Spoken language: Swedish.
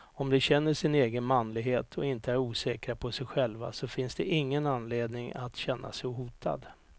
Om de känner sin egen manlighet och inte är osäkra på sig själva så finns det ingen anledning att känna sig hotad.